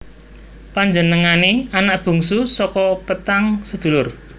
Panjenengané anak bungsu saka petang sedulur